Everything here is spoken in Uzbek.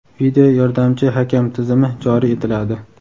video yordamchi hakam) tizimi joriy etiladi.